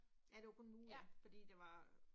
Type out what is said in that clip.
Ja det var kun en uge, fordi det var